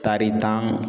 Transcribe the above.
Tari tan